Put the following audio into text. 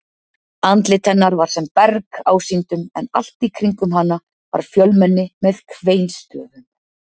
Andlit hennar var sem berg ásýndum en allt í kringum hana var fjölmenni með kveinstöfum.